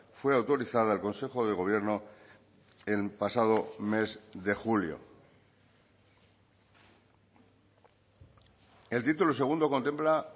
fue autorizada al consejo de gobierno el pasado mes de julio el título segundo contempla